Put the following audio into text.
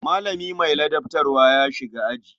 Malami mai ladabtarwa ya shiga aji.